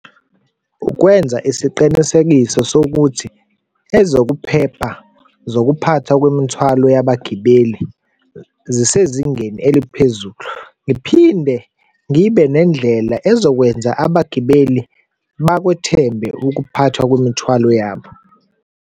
Ukwenza isiqinisekiso sokuthi ezokuphepha zokuphathwa kwemithwalo yabagibeli zisezingeni eliphezulu. Ngiphinde ngibe nendlela ezokwenza abagibeli bakwethembe ukuphathwa kwemithwalo yabo.